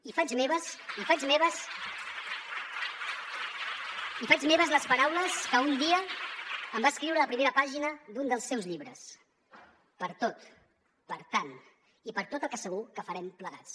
i faig meves les paraules que un dia em va escriure a la primera pàgina d’un dels seus llibres per tot per tant i per tot el que segur que farem plegats